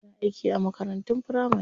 Tana aiki a makarantun firamari.